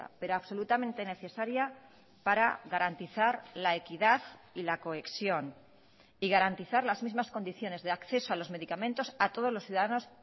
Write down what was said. pero absolutamente necesaria para garantizar la equidad y la cohesión y garantizar las mismas condiciones de acceso a los medicamentos a todos los ciudadanos